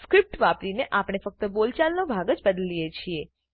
script વાપરીને આપણે ફક્ત બોલચાલનો ભાગ જ બદલીએ છીએ